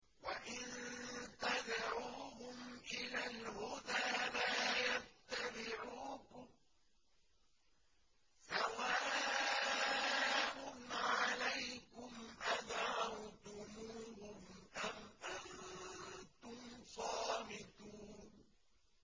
وَإِن تَدْعُوهُمْ إِلَى الْهُدَىٰ لَا يَتَّبِعُوكُمْ ۚ سَوَاءٌ عَلَيْكُمْ أَدَعَوْتُمُوهُمْ أَمْ أَنتُمْ صَامِتُونَ